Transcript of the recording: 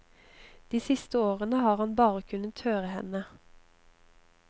De siste årene har han bare kunnet høre henne.